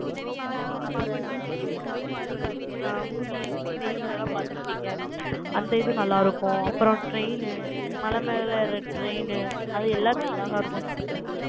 rope ன்னா, பார்த்திருப்பீங்க, நீங்க rope அ, movie ல், செய்தியில எல்லாம் பார்த்திருப்பீங்க. அந்த இது அந்த இது நல்லா இருக்கும். அப்புறம் train மலை மேல train, அது எல்லாமே அழகா இருக்கும் sister